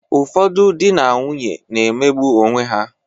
Ụfọdụ dị na nwunye na-emegbụ onweha.